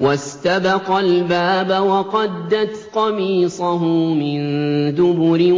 وَاسْتَبَقَا الْبَابَ وَقَدَّتْ قَمِيصَهُ مِن دُبُرٍ